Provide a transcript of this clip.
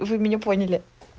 вы меня поняли